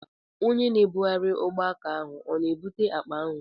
Onye na-ebugharị ugbọaka ahụ ọ na-ebute akpa ahụ?